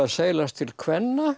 seilast til kvenna